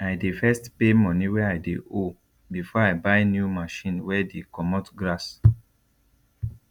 i dey first pay money wey i dey ow before i buy new machine wey dey comot grass